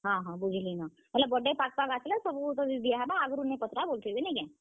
ହଁ ହଁ, ବୁଝଲି ନ, ମାନେ birthday ପାଖ୍ ପାଖ୍ ଆସ୍ ଲେ ତତେ ସବୁ ଦିଆହେବା ଆଘରୁ ନି ପଚ୍ ରା ବଲୁଥିବେ ନାଇ କେଁ?